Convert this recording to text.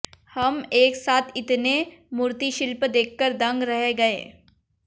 हम एक साथ इतने मूर्तिशिल्प देखकर दंग रह गए